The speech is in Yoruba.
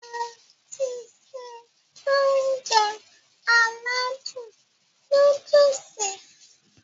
Mo ti se Ounjẹ aládùn nóódùsì